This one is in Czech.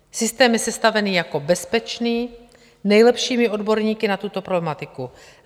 Systém je sestavený jako bezpečný nejlepšími odborníky na tuto problematiku.